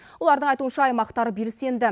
олардың айтуынша аймақтар белсенді